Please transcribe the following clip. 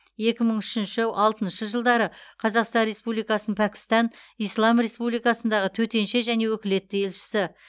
екі мың үшінші алтыншы жылдары қазақстан республикасының пәкістан ислам республикасындағы төтенше және өкілетті елшісі